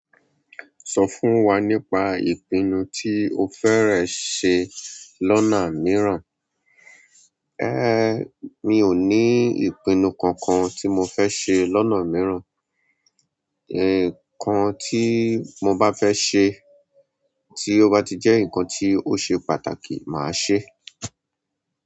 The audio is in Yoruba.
Sọ fún wa nípa ìpinnu tí o fẹ́rẹ̀ ṣe lọ́nà mìíràn. Ẹ ẹ mi ò ní ìpinnu kankan tí mo fẹ́ ṣe lọ́nà mìíràn. Ẹ nǹkan tí mo bá fẹ́ ṣe, tí ó bá ti jẹ́ ǹkan tí ó ṣe pàtàkì, màá ṣe é.